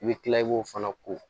I bɛ kila i b'o fana ko